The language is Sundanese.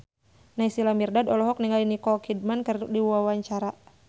Naysila Mirdad olohok ningali Nicole Kidman keur diwawancara